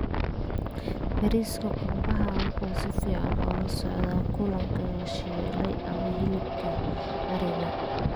Bariiska qumbaha wuxuu si fiican ula socdaa kalluunka la shiilay ama hilibka ariga.